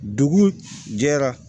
Dugu jɛra